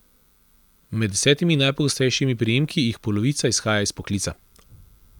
Med desetimi najpogostejšimi priimki jih polovica izhaja iz poklica.